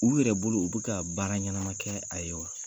U yɛrɛ bolo u bɛka ka baara ɲɛnama kɛ a ye wa?